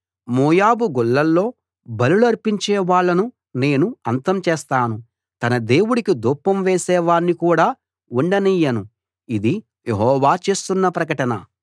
మోయాబు గుళ్ళలో బలులర్పించే వాళ్ళను నేను అంతం చేస్తాను తన దేవుడికి ధూపం వేసే వాణ్ణి కూడా ఉండనియ్యను ఇది యెహోవా చేస్తున్న ప్రకటన